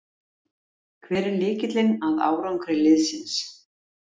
Hver er lykillinn að árangri liðsins?